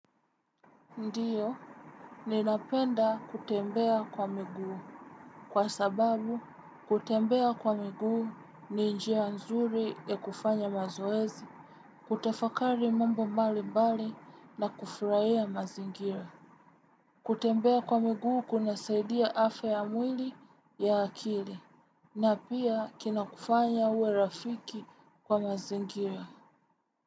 Ndiyo. Ninapenda kutembea kwa miguu. Kwa sababu, kutembea kwa miguu ni njia nzuri ya kufanya mazoezi, kutafakari mambo mbalimbali na kufraia mazingira. Kutembea kwa miguu kunasaidia afe ya mwili ya akili. Na pia kinakufanya uwe rafiki kwa mazingira.